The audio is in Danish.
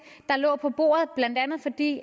der lå på bordet blandt andet fordi